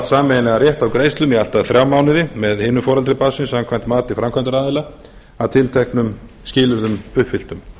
sameiginlegan rétt á greiðslum í allt að þrjá mánuði með einu foreldri barnsins samkvæmt mati framkvæmdaraðila að tilteknum skilyrðum uppfylltum